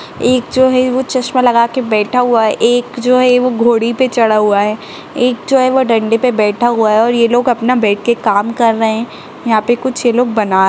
एक जो है वो चश्मा लगा के बैठा हुआ है एक जो है वो घोड़ी पे चढ़ा हुआ है एक जो है वो डंडे पर बैठा हुआ है और ये लोग अपना बैठ के काम कर रहे हैं यहाँ पे कुछ ये लोग बना --